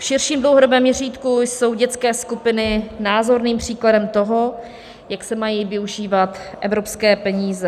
V širším dlouhodobém měřítku jsou dětské skupiny názorným příkladem toho, jak se mají využívat evropské peníze.